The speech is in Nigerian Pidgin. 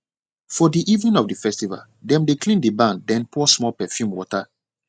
for the evening of the festival dem dey clean the barn then pour small perfume water